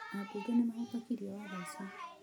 Aambunge nĩ mahĩtũkirie watho ũcio.